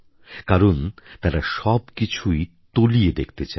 কারণ তারা সবকিছুই তলিয়ে দেখতে চায়